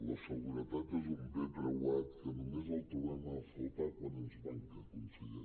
la seguretat és un bé preuat que només el trobem a faltar quan ens manca conseller